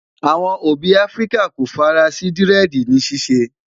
àwọn òbí áfríkà kò fara sí diredi ni ṣiṣẹ